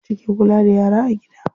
Mace ke kula da yara a gida.